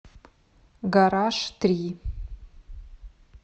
гараж три